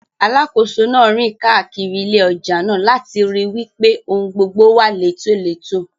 Alákòóso náà ń rìn káàkiri ilé ọjà náà, láti ríi wípé ohun gbogbo wà létòletò.